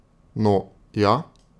No, ja?